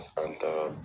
An taara